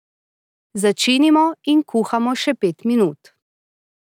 Začinimo in kuhamo še pet minut.